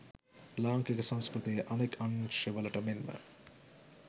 ලාංකික සංස්කෘතියේ අනෙක් අංශවලට මෙන්ම